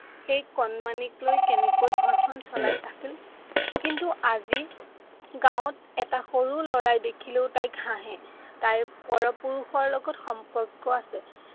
সেই কণমানিক লৈ কেনেকে ঘৰখন চলাই আছিল। কিন্তু আজি গাঁৱত এটা সৰু ল'ৰাই দেখিলেও তাইক হাঁহে। তাইৰ পৰ পুৰুষৰ লগত সম্পৰ্ক আছে।